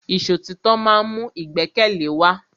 Ìṣọ̀títọ́ ma ń mú ìgbẹ́kẹ̀lé wa.